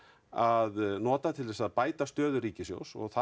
að nota til að bæta stöðu ríkissjóðs og það